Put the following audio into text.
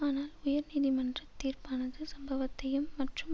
ஆனால் உயர் நீதிமன்ற தீர்ப்பானது சம்பவத்தையும் மற்றும்